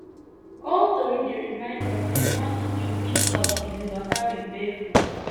old tori dey remind us say morning dew fit talk if you waka with bare foot